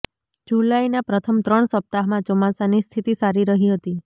જુલાઈના પ્રથમ ત્રણ સપ્તાહમાં ચોમાસાની સ્થિતિ સારી રહી હતી